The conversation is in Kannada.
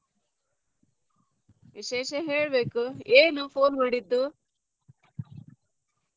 ವಿಶೇಷ ಹೇಳ್ಬೇಕು ಏನು phone ಮಾಡಿದ್ದೂ?